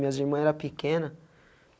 Minhas irmãs era pequena.